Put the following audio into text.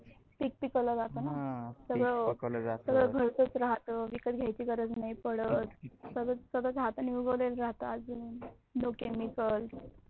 पिक पिकवल जात न सगळ घरच च राहते, विकत घ्यायची गरज नाही पडत सगल हातानी उगवलेल राहत.